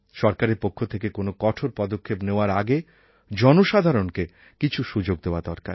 সরকারের পক্ষ থেকে কোনও কঠোর পদক্ষেপ নেওয়ার আগে জনসাধারণকে কিছু সুযোগ দেওয়া দরকার